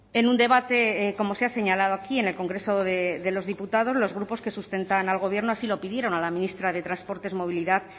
en un debate como se ha señalado aquí en el congreso de los diputados los grupos que sustentan al gobierno así lo pidieron a la ministra de transportes movilidad